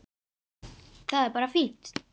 Það er bara fínt.